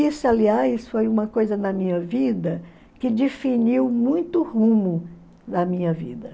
Isso, aliás, foi uma coisa na minha vida que definiu muito o rumo da minha vida.